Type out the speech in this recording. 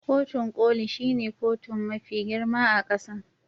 Kotun Koli shine kotun mafi girma a kasan.